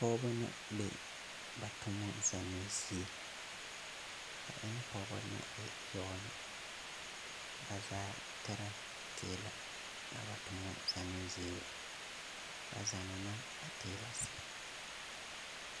Pɔgɔba na be ba toma zannoo zie ba e pɔgeba na e yɔɔna ba zaa tera teela a ba toma zannoo zie ba zanna a teela sɛb.